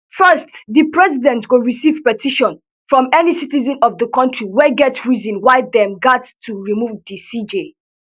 first di president go receive petition from any citizen of di kontri wey get reason why dem gat to remove di cj